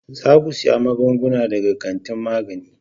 Za ku siyi magungunan daga kantin magani.